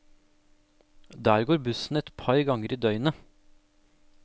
Der går bussen et par ganger i døgnet.